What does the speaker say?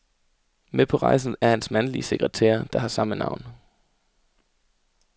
Med på rejsen er hans mandlige sekretær, der har samme navn.